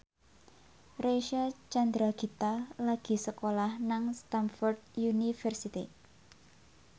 Reysa Chandragitta lagi sekolah nang Stamford University